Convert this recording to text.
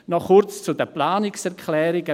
Noch kurz zu den Planungserklärungen: